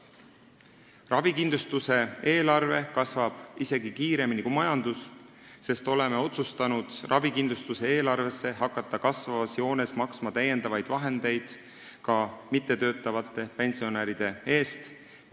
Ravikindlustuse eelarve kasvab isegi kiiremini kui majandus, sest oleme otsustanud ravikindlustuse eelarvesse hakata kasvavas joones maksma täiendavaid vahendeid ka mittetöötavate pensionäride eest.